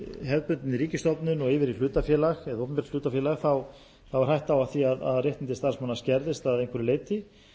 hefðbundinni ríkisstofnun og yfir í hlutafélag eða opinbert hlutafélag er hætta á því að réttindi starfsmanna skerðist að einhverju leyti